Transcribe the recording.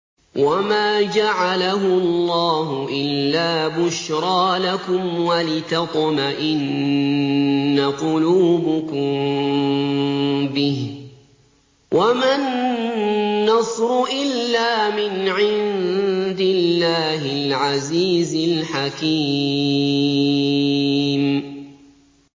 وَمَا جَعَلَهُ اللَّهُ إِلَّا بُشْرَىٰ لَكُمْ وَلِتَطْمَئِنَّ قُلُوبُكُم بِهِ ۗ وَمَا النَّصْرُ إِلَّا مِنْ عِندِ اللَّهِ الْعَزِيزِ الْحَكِيمِ